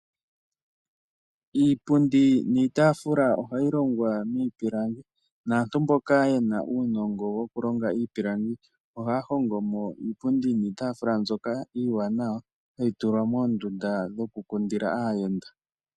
Iipundi niitaafula ohayi longwa miipilangi naantu mboka ye na uunongo wokulonga iipilangi ohaya hongo mo iipundi niitaafula ndyoka iiwanawa hayi tulwa moondunda dhokukundila aayenda.